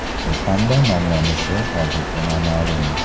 U qanday nomlanishi hozircha noma’lum.